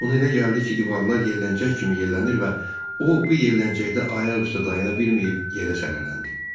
Ona elə gəldi ki, divarlar yelləncək kimi yellənir və o, bu yelləncəkdə ayaq üstə dayana bilməyib yerə sələləndi.